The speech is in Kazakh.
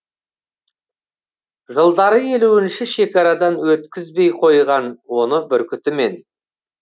жылдары елуінші шекарадан өткізбей қойған оны бүркітімен